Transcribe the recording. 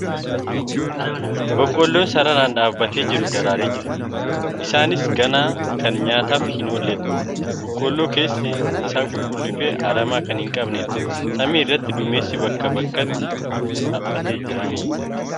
Boqqoolloon sararaan dhaabbatee jiru daraaree jira. Isaanis ganaa kan nyaataaf hin oolledha . Boqolloo keessi isaa qulqulluu fi aramaa kan hin qabneedha . Samii irratti duumessi bakka bakkatti haphatee argama.